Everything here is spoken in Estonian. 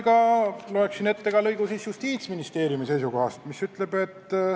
Loen ette ka lõigu Justiitsministeeriumi seisukohast.